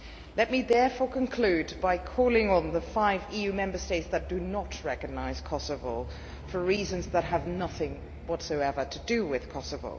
Let me therefore conclude by calling on the five EU Member States that do not recognise Kosovo for reasons that have nothing whatsoever to do with Kosovo.